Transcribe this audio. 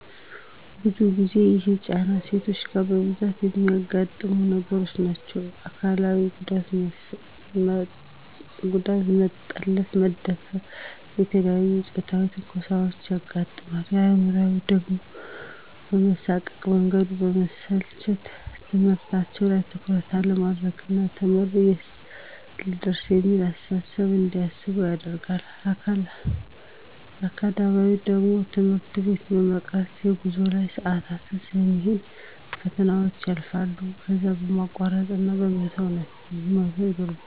ብዙ ጊዜ ይሄ ጫና ሴቶች ጋ በብዛት እሚያጋጥሙ ነገሮች ናቸዉ። አካላዊ ጉዳት መጠለፍ፣ መደፈር፣ የተለያዬ ፆታዊ ትንኮሳዎች ያጋጥማቸዋል። አእምሯዊ ደሞ የመሳቀቅ፣ መንገዱ የመሰልቸት፣ ትምህርታቸዉ ላይ ትኩረት አለማድረግ ና ተምሬ የት ልደርስ እሚል አስተሳሰብ እንዲያስቡ ያደርጋቸዋል። አካዳሚካሊ ደሞ ትምህርት ቤት የመቅረት፣ በጉዞ ላይ ሰአታቸዉ ስለሚሄድ ፈተናዎች ያልፋቸዋል ከዛ የማቋረጥ እና የመተዉ ነገር ይኖራል።